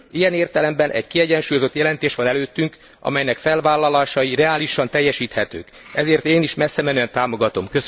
Ilyen értelemben egy kiegyensúlyozott jelentés van előttünk, amelynek felvállalásai reálisan teljesíthetők, ezért én is messzemenően támogatom.